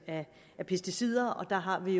af pesticider og der har vi